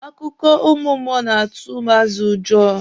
Akụkọ ụmụ mmụọ na-atụ ụmụazị ụjọ.